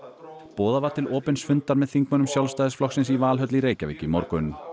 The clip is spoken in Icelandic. boðað var til opins fundar með þingmönnum Sjálfstæðisflokksins í Valhöll í Reykjavík í morgun